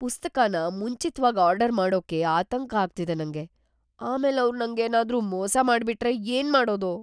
ಪುಸ್ತಕನ ಮುಂಚಿತ್ವಾಗ್ ಆರ್ಡರ್ ಮಾಡೋಕೆ ಆತಂಕ ಆಗ್ತಿದೆ ನಂಗೆ, ಆಮೇಲ್ ಅವ್ರ್ ನಂಗೇನಾದ್ರೂ ಮೋಸ ಮಾಡ್ಬಿಟ್ರೆ ಏನ್ ಮಾಡೋದು?